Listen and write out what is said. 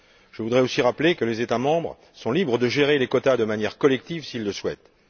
Je voudrais aussi rappeler que les États membres sont libres de gérer les quotas de manière collective s'ils le souhaitent.